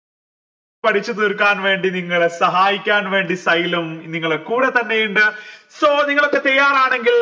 പഠിച്ചു തീർക്കാൻ വേണ്ടി നിങ്ങളെ സഹായിക്കാൻ വേണ്ടി സ്യ്ലേം നിങ്ങളെ കൂടെ തന്നെയുണ്ട് so നിങ്ങളൊക്കെ തയ്യാറാണെങ്കിൽ